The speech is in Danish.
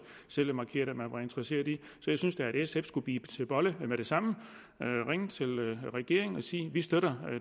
selv har markeret at man var interesseret i så jeg synes da at sf skulle bide til bolle med det samme og ringe til regeringen og sige vi støtter